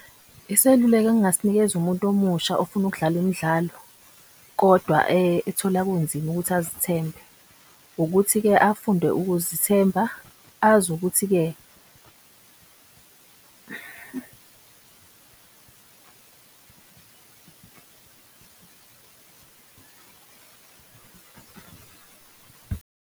Iseluleko engasinikeza umuntu omusha ofuna ukudlala imidlalo kodwa ethola kunzima ukuthi azithembe ukuthi-ke afunde ukuzethemba azi ukuthi-ke .